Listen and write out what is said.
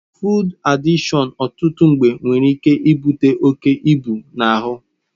Fụụd adịkshọn ọtụtụ mgbe nwere ike ibute oke ịbu anụ ahụ.